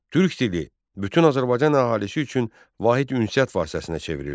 Türk dili bütün Azərbaycan əhalisi üçün vahid ünsiyyət vasitəsinə çevrildi.